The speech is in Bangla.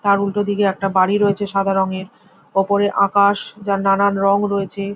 তার উল্টো দিকে একটা বাড়ি রয়েছে সাদা রঙের। উপরে আকাশ যার নানান রং রয়েছে ।